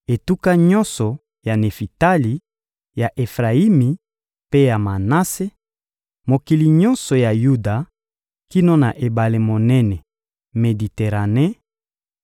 etuka nyonso ya Nefitali, ya Efrayimi mpe ya Manase; mokili nyonso ya Yuda kino na ebale monene Mediterane,